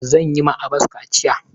Zan yi ma Abas kaciya.